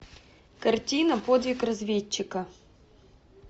картина подвиг разведчика